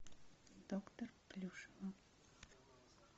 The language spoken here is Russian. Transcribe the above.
доктор плюшева